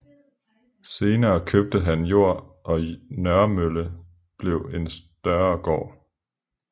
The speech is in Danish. Senere købte han jord og Nørremølle blev en større gård